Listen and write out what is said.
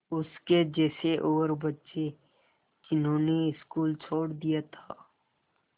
उसके जैसे और बच्चे जिन्होंने स्कूल छोड़ दिया था